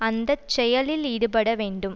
அந்த செயலில் ஈடுபட வேண்டும்